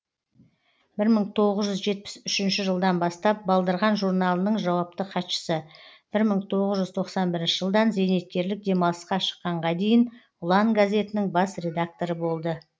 бір мың тоғыз жүз жетпіс үшінші жылдан бастап балдырған журналының жауапты хатшысы бір мың тоғыз жүз тоқсан бірінші жылдан зейнеткерлік демалысқа шыққанға дейін ұлан газетінің бас редакторы болды